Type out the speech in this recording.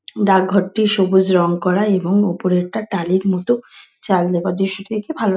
ডাক ঘরটি সবুজ রঙ করা | এবং ওপরে একটা টালির মত চাল দেওয়া | দৃশ্যটি দেখে ভাল--